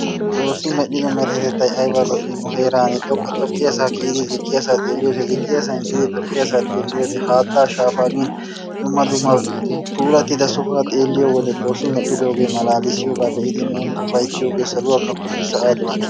Xoosi medhdhido meretettay ayibba lo'i! Nu heeran issi xoqqiyassa kiyiddi ziqqiyasa xeeliyode ziqiyaasan eqidi xoqqiyassa xeeliyode haatta shaafa giin dumma dumma puulatida sohuwaa xeeliyo wode xoossi medhdhidoge be'iddi malalalettiyoge nuni ufaytiyooge saluwaa kafotti sa'aa do'atti.